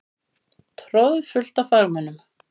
Troðfullt af fagmönnum.